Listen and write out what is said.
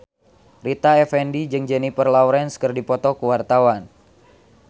Rita Effendy jeung Jennifer Lawrence keur dipoto ku wartawan